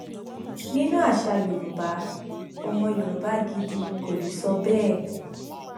nínú àṣà yorùbá ọmọ yorùbá gidi kò lè sọ bẹẹ